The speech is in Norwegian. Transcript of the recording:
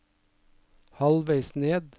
halvveis ned